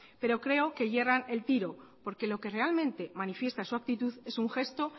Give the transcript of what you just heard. pero creo que yerra el tiro porque lo que realmente manifiesta su actitud es un gesto